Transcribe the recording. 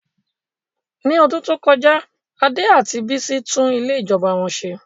Ní ọdún tó kọjá, Ade àti Bisi tún ilé ìjọba wọn ṣe.